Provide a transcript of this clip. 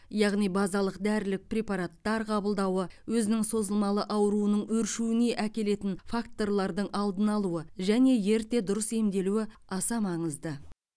яғни базалық дәрілік препараттар қабылдауы өзінің созылмалы ауруының өршуіне әкелетін факторлардың алдын алуы және ерте дұрыс емделуі аса маңызды